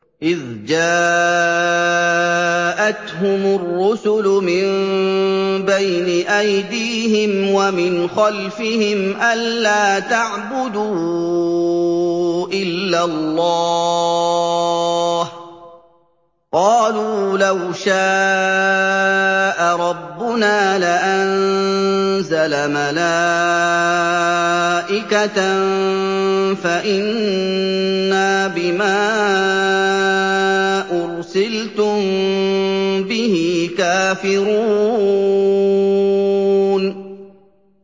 إِذْ جَاءَتْهُمُ الرُّسُلُ مِن بَيْنِ أَيْدِيهِمْ وَمِنْ خَلْفِهِمْ أَلَّا تَعْبُدُوا إِلَّا اللَّهَ ۖ قَالُوا لَوْ شَاءَ رَبُّنَا لَأَنزَلَ مَلَائِكَةً فَإِنَّا بِمَا أُرْسِلْتُم بِهِ كَافِرُونَ